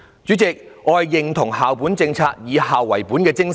主席，我認同以校為本的精神。